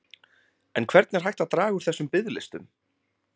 En hvernig er hægt að draga úr þessum biðlistum?